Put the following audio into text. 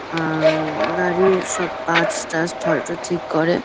আ উম গাড়ির সব পার্টস থার্টস হয়তো ঠিক করে।